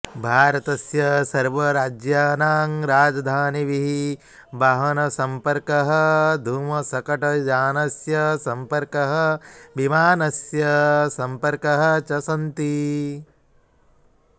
भारतस्य सर्वराज्यानां राजधानिभिः वाहनसम्पर्कः धूमशकटयानस्य सम्पर्कः विमानस्य सम्पर्कः च सन्ति